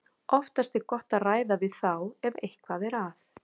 Oftast er gott að ræða við þá ef eitthvað er að.